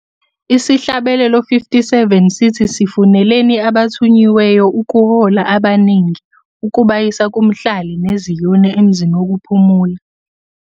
Isihlabelelo 57 sithi "Sifuneleni abathunyiweyo ukuhola abaningi, ukubayisa kumhlali neZion emzini wokuphumula."